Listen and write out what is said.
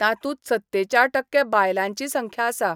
तांतूत सत्तेचाळ टक्के बायलांची संख्या आसा.